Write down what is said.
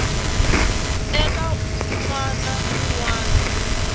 eka n wana un wana